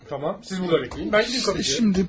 Tamam, siz burada gözləyin, mən gedim qapıçıya.